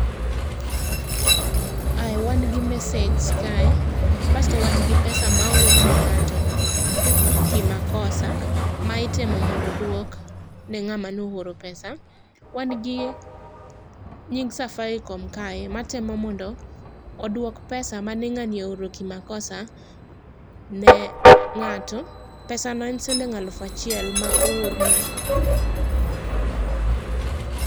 Ai wan gi message kae, basto wan gi pesa ma oorne ng'ato kimakosa ma itemo mondo odwok ne ng'ama ne ooro pesa. Wan gi nying Safaricom kae matemo mondo odwok pesa mane ng'ani ooro kimakosa ne ng'ato. Pesa no en siling' alufachiel ma oorno.